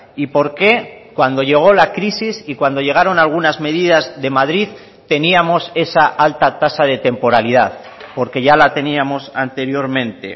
y por qué cuando llego la crisis y cuando llegaron algunas medidas de madrid teníamos esa alta tasa de temporalidad porque ya la teníamos anteriormente